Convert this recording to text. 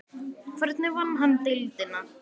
Hvernig vann hann deildina?